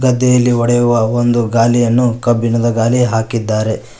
ಗದ್ದೆಯಲ್ಲಿ ಒಡೆಯುವ ಒಂದು ಗಾಲಿಯನ್ನು ಕಬ್ಬಿಣದ ಗಾಲಿ ಹಾಕಿದ್ದಾರೆ.